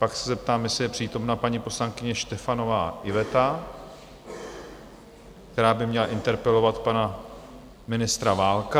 Pak se zeptám, jestli je přítomna paní poslankyně Štefanová Iveta, která by měla interpelovat pana ministra Válka?